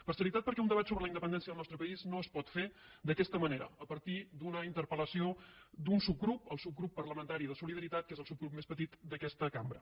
per serietat perquè un debat sobre la independència del nostre país no es pot fer d’aquesta manera a partir d’una interpel·lació d’un subgrup el subgrup parlamentari de solidaritat que és el subgrup més petit d’aquesta cambra